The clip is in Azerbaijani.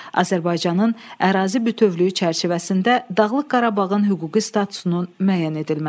Azərbaycanın ərazi bütövlüyü çərçivəsində Dağlıq Qarabağın hüquqi statusunun müəyyən edilməsi.